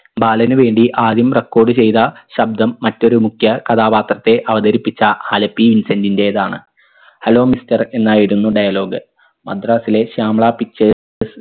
ബാലന് വേണ്ടി ആദ്യം record ചെയ്ത ശബ്ദം മറ്റൊരു മുഖ്യ കഥാപാത്രത്തെ അവതരിപ്പിച്ച ആലപ്പി ഇൻസെന്റിൻറെതാണ് hello mister എന്നായിരുന്നു dialogue മദ്രാസിലെ ശ്യാമള pictures